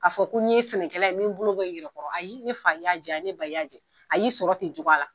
Ka fɔ ko n ye senɛkɛla ye n bɛ bolo bɔ n yɛrɛ kɔrɔ ayi ne fa i y'a jɛ ne ba i y'a jɛ a y'i sɔrɔ ten cogoya la.